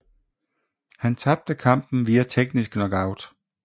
Han tabte kampen via teknisk knockout